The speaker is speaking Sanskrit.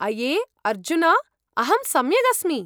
अये ! अर्जुन! अहं सम्यक् अस्मि।